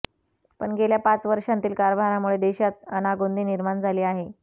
पण गेल्या पाच वर्षांतील कारभारामुळे देशात अनागोंदी निर्माण झाली आहे